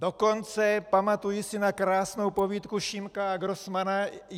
Dokonce pamatuji si na krásnou povídku Šimka a Grossmanna